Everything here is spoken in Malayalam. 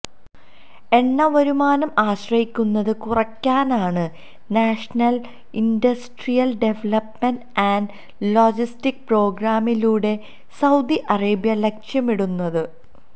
എണ്ണ വരുമാനം ആശ്രയിക്കുന്നത് കുറക്കാനാണ് national industrial development and logistic പ്രോഗ്രാമിലൂടെ സൌദി അറേബ്യ ലക്ഷ്യമിടുന്നത്